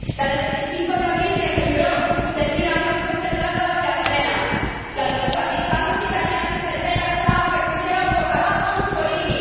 la del 25 de abril que se liberó del tirano al son de Grandôla, Vila Morena la de los partisanos italianos del Bella Ciao que pusieran boca abajo a Mussolini.